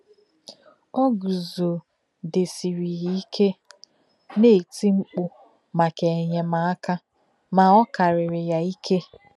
Ò guzò̄gí̄dèsìrì ya íké, ná-ètí mkpù̄ mákà ènyémákà, mà ọ̀ kárìrì ya íké.